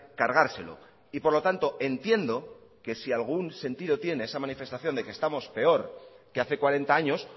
cargárselo y por lo tanto entiendo que si algún sentido tiene esa manifestación de que estamos peor que hace cuarenta años